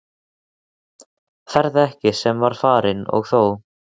Ferð sem ekki var farin- og þó!